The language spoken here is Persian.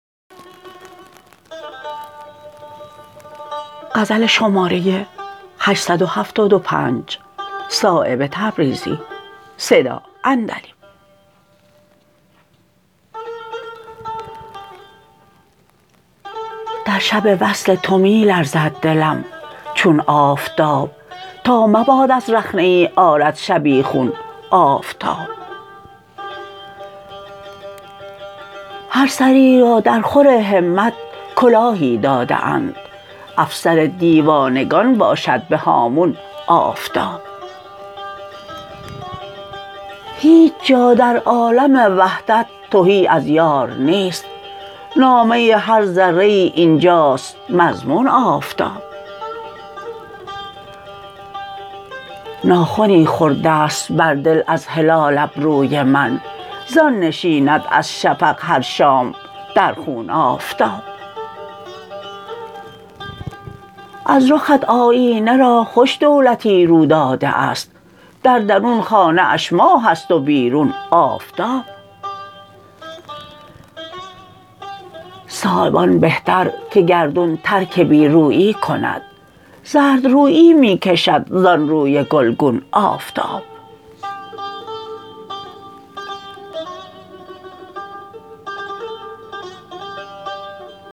در شب وصل تو می لرزد دلم چون آفتاب تا مباد از رخنه ای آرد شبیخون آفتاب هر سری را در خور همت کلاهی داده اند افسر دیوانگان باشد به هامون آفتاب هیچ جا در عالم وحدت تهی از یار نیست نامه هر ذره ای اینجاست مضمون آفتاب ناخنی خورده است بر دل از هلال ابروی من زان نشیند از شفق هر شام در خون آفتاب از رخت آیینه را خوش دولتی رو داده است در درون خانه اش ماه است و بیرون آفتاب صایب آن بهتر که گردون ترک بی رویی کند زردرویی می کشد زان روی گلگون آفتاب